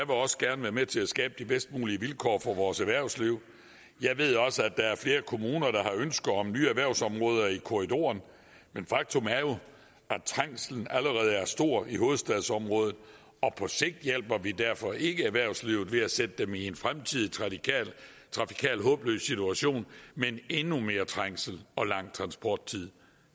også gerne være med til at skabe de bedst mulige vilkår for vores erhvervsliv jeg ved også at der er flere kommuner der har ønske om nye erhvervsområder i korridoren men faktum er jo at trængslen allerede er stor i hovedstadsområdet og på sigt hjælper vi derfor ikke erhvervslivet ved at sætte dem i en fremtidig trafikal håbløs situation med endnu mere trængsel og lang transporttid